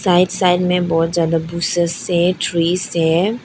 Right side में बहुत ज्यादा है ट्रीज है।